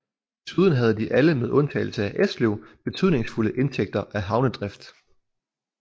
Desuden havde de alle med undtagelse af Esløv betydningsfulde indtægter af havnedrift